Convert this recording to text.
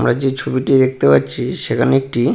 আমরা যে ছবিটি দেখতে পাচ্ছি সেখানে একটি--